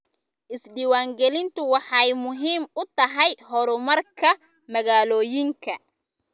Isdiiwaangelintu waxay muhiim u tahay horumarka magaalooyinka.